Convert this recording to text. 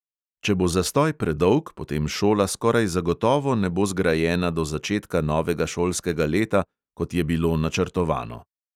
Če bo zastoj predolg, potem šola skoraj zagotovo ne bo zgrajena do začetka novega šolskega leta, kot je bilo načrtovano.